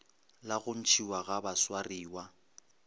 la go ntšhiwa ga baswariwa